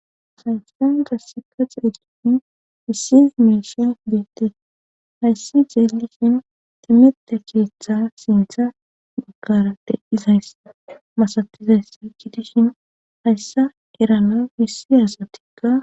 Haysaysan dasseka xeeglisin issi miisha beettes hayssi jeelisin timete kiritha sintha baggara de7izaysa masatizayssa kidishin hayssa erana besiya asatikka